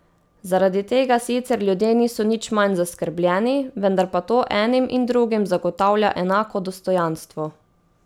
Zaradi tega sicer ljudje niso nič manj zaskrbljeni, vendar pa to enim in drugim zagotavlja enako dostojanstvo.